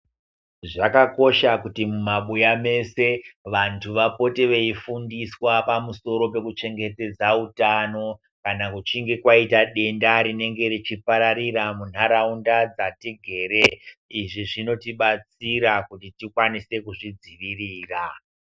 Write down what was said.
Zvakakosha kuti mumabuya mese vantu vapote veifundiswa pamusoro pekuchengetedza utano. Kana kuchinge kwaita denda rinenge richipararira muntaraunda dzatigere. Izvi zvinotibatsira kuti tikwanise kuzvidzivirira.